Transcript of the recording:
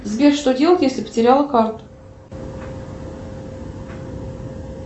сбер что делать если потеряла карту